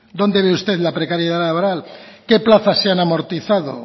dónde ve usted la precariedad laboral qué plazas se han amortizado